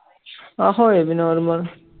ਆਹ ਹੋਏ ਸੀ normal